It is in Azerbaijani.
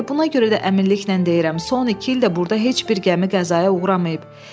Elə buna görə də əminliklə deyirəm, son iki ildə burada heç bir gəmi qəzaya uğramayıb.